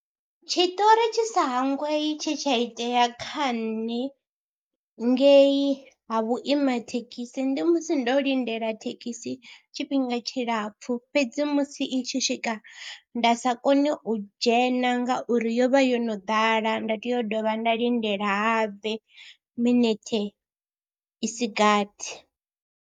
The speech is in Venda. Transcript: Tshiṱori tshi sa hangwei tshe tsha itea kha nṋe ngei ha vhuima thekhisi ndi musi ndo lindela thekhisi tshifhinga tshilapfhu fhedzi musi i tshi swika nda sa kone u dzhena ngauri yo vha yo no ḓala, nda tea u dovha nda lindela habe minete i si gathi.